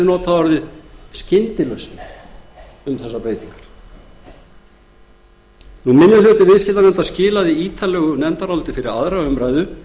notað um þessar breytingar minni hluti viðskiptanefndar skilaði ítarlegu nefndaráliti fyrir aðra umræðu